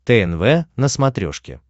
тнв на смотрешке